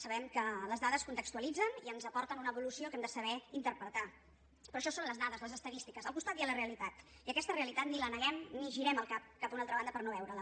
sabem que les dades contextualitzen i ens aporten una evolució que hem de saber interpretar però això són les dades les estadístiques al costat hi ha la realitat i aquesta realitat ni la neguem ni girem el cap cap a una altra banda per no veure la